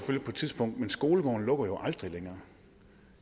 tidspunkt men skolegården lukker jo aldrig længere